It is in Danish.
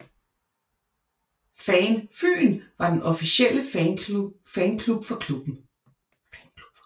FAN FYN var den officielle fanklub for klubben